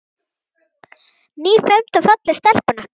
Nýfermd og falleg stelpan okkar.